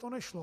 To nešlo.